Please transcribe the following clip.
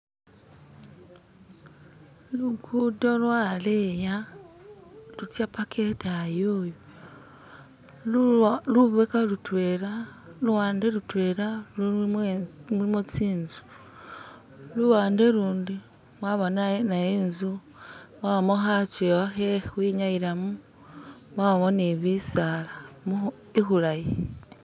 Lugudo lwaleya lutsa mpaka idayi yoyo lubekha lutwela luwande lutwela lulimo tsinzu luwande lundi mwabamo naye inzu mwabamo khajewa khe kwinyayilamo mwabamo ni bisaala mu ikhulayi